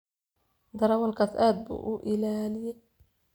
Darawalkas aad buu uu ii laliye .